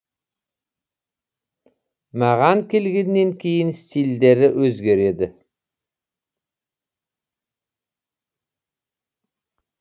маған келгеннен кейін стильдері өзгереді